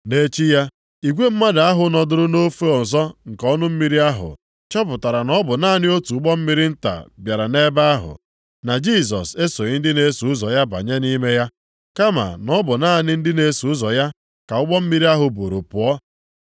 Nʼechi ya, igwe mmadụ ahụ nọdụrụ nʼofe ọzọ nke ọnụ mmiri ahụ chọpụtara na ọ bụ naanị otu ụgbọ mmiri nta bịara nʼebe ahụ, na Jisọs esoghị ndị na-eso ụzọ ya banye nʼime ya, kama na ọ bụ naanị ndị na-eso ụzọ ya ka ụgbọ mmiri ahụ buuru pụọ.